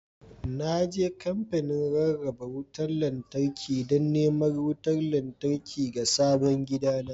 Na je kamfanin rarraba wutar lantarki don neman wutar lantarki ga sabon gidana